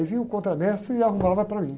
Aí vinha o contramestre e arrumava para mim.